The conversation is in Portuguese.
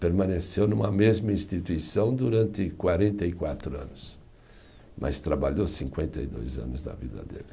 Permaneceu numa mesma instituição durante quarenta e quatro anos, mas trabalhou cinquenta e dois anos da vida dele.